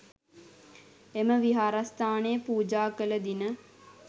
එම විහාරස්ථානය පූජා කළ දින